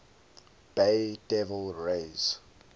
bay devil rays